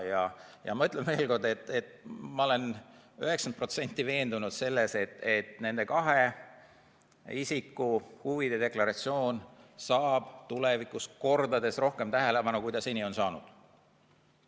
Ja ma ütlen veel kord: ma olen 90 protsenti veendunud selles, et nende kahe isiku huvide deklaratsioon saab tulevikus kordades rohkem tähelepanu, kui seni on saanud.